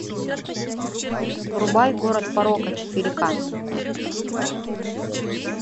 врубай город порока четыре к